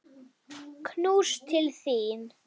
Knús til þín.